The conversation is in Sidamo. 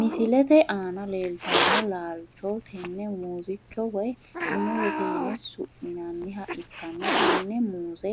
Misilete aana leeltano laaicho tene muuzicho woyi muuzete yine su`minaniha ikana tene muuze